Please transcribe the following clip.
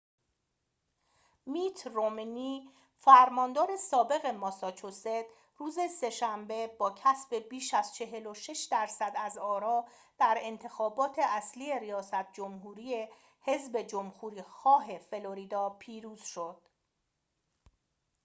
میت رومنی فرماندار سابق ماساچوست روز سه‌شنبه با کسب بیش از ۴۶ درصد از آرا در انتخابات اصلی ریاست جمهوری حذب جمهوری‌خواه فلوریدا پیروز شد